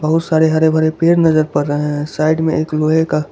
बहुत सारे हरे भरे पेड़ नजर पड़ रहे हैं साइड में एक लोहे का--